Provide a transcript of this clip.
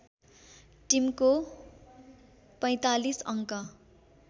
टिमको ४५ अङ्क